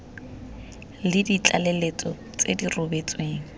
le ditlaleletso tse di rebotsweng